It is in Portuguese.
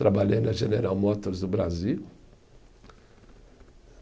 Trabalhei na General Motors do Brasil.